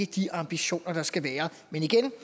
de ambitioner der skal være men igen